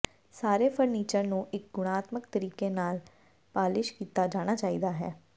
ਸਾਰੇ ਫਰਨੀਚਰ ਨੂੰ ਇੱਕ ਗੁਣਾਤਮਕ ਤਰੀਕੇ ਨਾਲ ਪਾਲਿਸ਼ ਕੀਤਾ ਜਾਣਾ ਚਾਹੀਦਾ ਹੈ